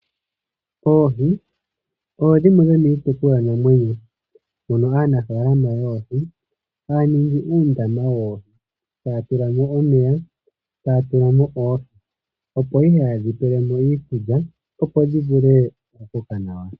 Oohi odho dhimwe dho miitekulwanamwenyo mono aanafaalama yoohi haya ningi uundama woohi taya tula mo omeya, taya tula mo oohi ,opo ihe haye dhi pele mo iikulya opo dhi vule okukoka nawa.